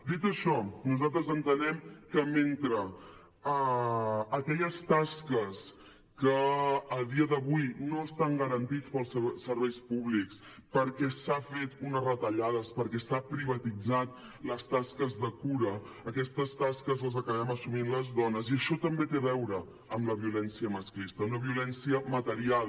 dit això nosaltres entenem que mentre aquelles tasques que a dia d’avui no estan garantides pels serveis públics perquè s’han fet unes retallades perquè s’han privatitzat les tasques de cura aquestes tasques les acabem assumint les dones i això també té a veure amb la violència masclista una violència material